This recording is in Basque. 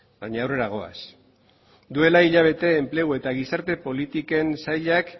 baina aurrera goaz duela hilabete enplegu eta gizarte politiken sailak